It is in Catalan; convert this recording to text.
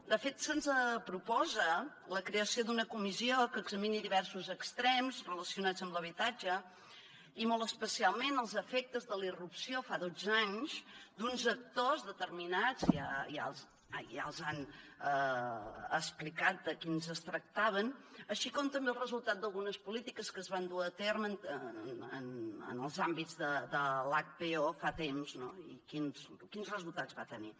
de fet se’ns proposa la creació d’una comissió que examini diversos extrems relacionats amb l’habitatge i molt especialment els efectes de la irrupció fa dotze anys d’uns actors determinats ja els han explicat de quins es tractava així com també els resultat d’algunes polítiques que es van dur a terme en els àmbits de l’hpo fa temps no i quins resultats va tenir